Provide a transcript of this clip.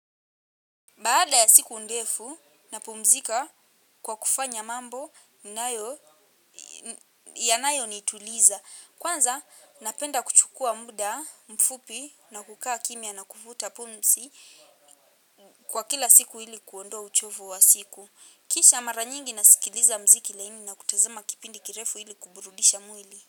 Baada ya siku ndefu napumzika kwa kufanya mambo yanayonituliza. Kwanza napenda kuchukua muda mfupi na kukaa kimya na kuvuta pumzi kwa kila siku ili kuondoa uchovu wa siku. Kisha mara nyingi nasikiliza mziki laini na kutazama kipindi kirefu ili kuburudisha mwili.